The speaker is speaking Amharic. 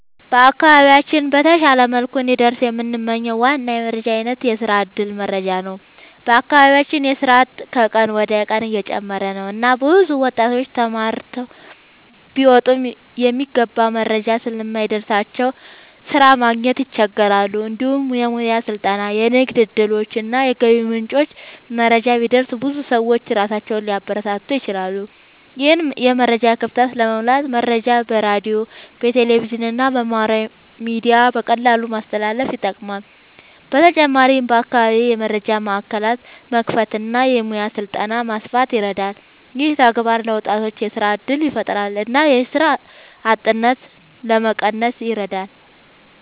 በአካባቢያችን በተሻለ መልኩ እንዲደርስ የምንመኝው ዋና የመረጃ አይነት የስራ እድል መረጃ ነው። በአካባቢያችን የስራ አጥነት ከቀን ወደ ቀን እየጨመረ ነው እና ብዙ ወጣቶች ተማርተው ቢወጡም የሚገባ መረጃ ስለማይደርስላቸው ስራ ማግኘት ይቸገራሉ። እንዲሁም የሙያ ስልጠና፣ የንግድ እድሎች እና የገቢ ምንጮች መረጃ ቢደርስ ብዙ ሰዎች ራሳቸውን ሊያበረታቱ ይችላሉ። ይህን የመረጃ ክፍተት ለመሙላት መረጃ በሬዲዮ፣ በቴሌቪዥን እና በማህበራዊ ሚዲያ በቀላሉ ማስተላለፍ ይጠቅማል። በተጨማሪም በአካባቢ የመረጃ ማዕከላት መክፈት እና የሙያ ስልጠና ማስፋት ይረዳል። ይህ ተግባር ለወጣቶች የስራ እድል ያፈጥራል እና የስራ አጥነትን ለመቀነስ ይረዳል።